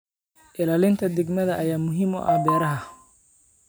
Ilaalinta deegaanka ayaa muhiim u ah beeraha.